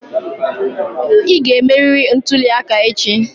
Ị ga-emerịrị ntuli aka echi!